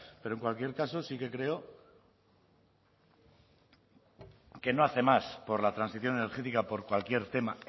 pero en cualquier caso sí que creo que no hace más por la transición energética por cualquier tema